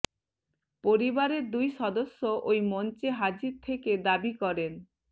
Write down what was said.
পরিবারের দুই সদস্য ওই মঞ্চে হাজির থেকে দাবি করেন